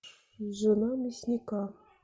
жена мясника